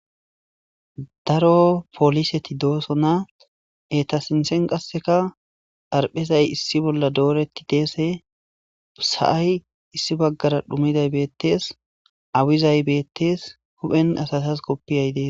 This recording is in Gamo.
daro poliseti dooso na eta sinthen qasseka dharphezay issi bolla dooretti deese usa7ay issi baggara dhumiday beettees awizay bettees huphen asatas koppiyay dees